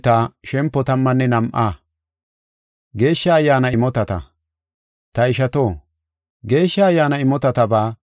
Ta ishato, Geeshsha Ayyaana imotataba hinte erana mela ta koyas.